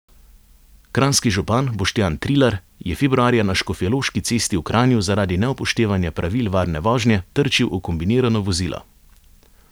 Kranjski župan Boštjan Trilar je februarja na Škofjeloški cesti v Kranju zaradi neupoštevanja pravil varne vožnje trčil v kombinirano vozilo.